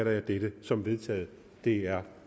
jeg dette som vedtaget det er